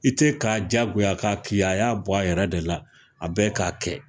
I te k'a diyagoya ka k'i ye a y'a bɔ a yɛrɛ de la a bɛ k'a kɛ